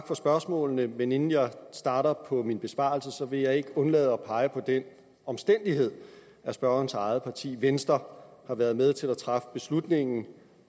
for spørgsmålene men inden jeg starter på min besvarelse vil jeg ikke undlade at pege på den omstændighed at spørgerens eget parti venstre har været med til at træffe beslutning